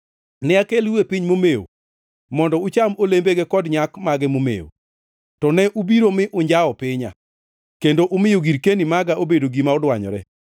Ne akelou e piny momewo mondo ucham olembege kod nyak mage momewo. To ne ubiro mi unjawo pinya kendo umiyo girkeni maga obedo gima odwanyore.